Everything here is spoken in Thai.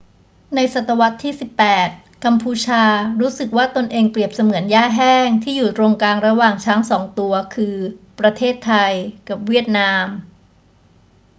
ในศตวรรษที่ 18 กัมพูชารู้สึกว่าตนเองเปรียบเสมือนหญ้าแห้งที่อยู่ตรงกลางระหว่างช้างสองตัว คือ ประเทศไทยกับเวียดนาม